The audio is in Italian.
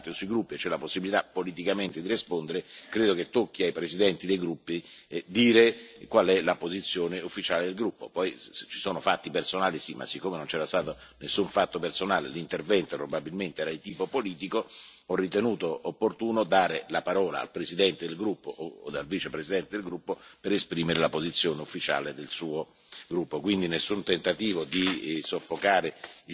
Quindi le domande cartellino blu sono ripristinate da subito, ma quando c'è il dibattito dei gruppi e c'è la possibilità politicamente di rispondere credo che tocchi ai presidenti dei gruppi dire qual è la posizione ufficiale del gruppo. Poi se ci sono fatti personali, sì, ma siccome non c'era stato nessun fatto personale e l'intervento probabilmente era di tipo politico ho ritenuto opportuno dare la parola al presidente del gruppo o al vicepresidente del gruppo per esprimere la posizione ufficiale del suo gruppo.